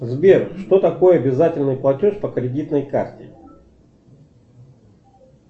сбер что такое обязательный платеж по кредитной карте